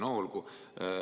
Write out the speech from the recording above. No olgu.